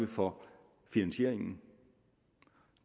for finansieringen og